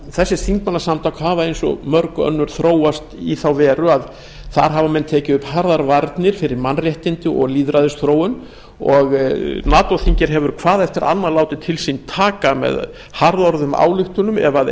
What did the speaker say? þessi þingmannasamtök hafa eins og mörg önnur þróast í þá veru að þar hafa menn tekið upp harðar varnir fyrir mannréttindi og lýðræðisþróun og nato þingið hefur hvað eftir annað látið til sín taka með harðorðum ályktunum ef